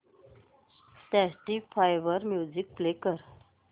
Spotify वर music play कर